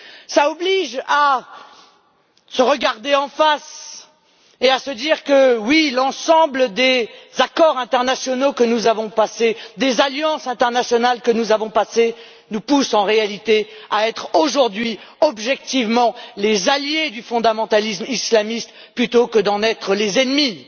Cela oblige à se regarder en face et à se dire que, oui, l'ensemble des accords internationaux que nous avons passés, des alliances internationales que nous avons passées, nous poussent en réalité à être aujourd'hui objectivement les alliés du fondamentalisme islamiste plutôt qu'à en être les ennemis.